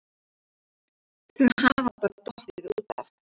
Þau hafa bara dottið út af